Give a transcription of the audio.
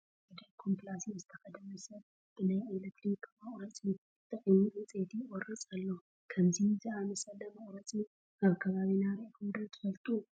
ሓደ ኮምፕላሴን ዝተኸደነ ሰብ ብናይ ኤለክትሪክ መቑረፂ ተጠቒሙ ዕንጨይቲ ይቖርፅ ኣሎ፡፡ ከምዚ ዝኣምሰለ መቑረፅ ኣብ ከባቢና ርኢኹም ዶ ትፈልጡ ዶ?